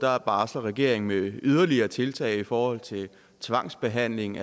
barsler regeringen med yderligere tiltag i forhold til tvangsbehandling